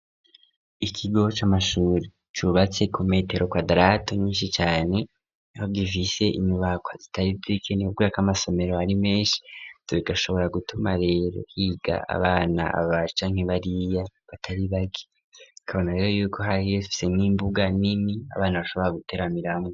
Ikigo c'amashuri cubatse ku metero quadarato nyinshi cyane iho gifise imibako zitari bikenera k'amasomero ari menshi tubiga shobora gutuma rero higa abana babaca nk'ibariya batari baki kabona rero yuko hari bifise nk'imbuga nini abana bashobora guteramiramwo